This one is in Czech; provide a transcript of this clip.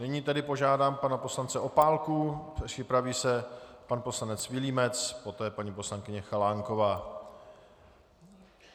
Nyní tedy požádám pana poslance Opálku, připraví se pan poslanec Vilímec, poté paní poslankyně Chalánková.